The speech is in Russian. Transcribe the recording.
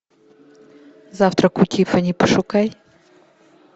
завтрак у тиффани пошукай